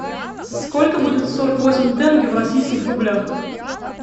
сколько будет сорок восемь тенге в российских рублях